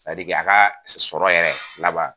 Sadike a ka sɔrɔ yɛrɛ laban.